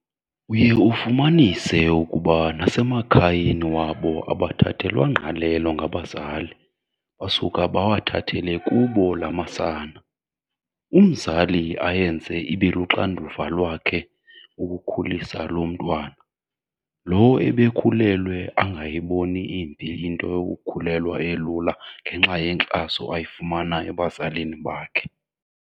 Uye ufumanise ukuba nasemakhayeni wabo abathathelwa ngqalelo ngabazali basuka bawathathele kubo la masana, umzali ayenze ibeluxanduva lakhe ukukhulisa loo mntwana. Lo ebekhulelwe angayiboni imbi into yokukhulelwa elula ngenxa yenxaso ayifumana ebazalini bakhe.